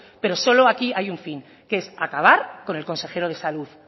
pero solo aquí hay un fin que es acabar con el consejero de salud